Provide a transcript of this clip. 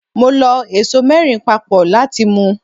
Mo lọ ẹso mẹ́rin papọ̀ láti mu.